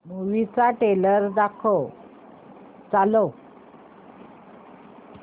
movie चा trailer चालव